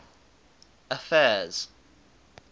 affairs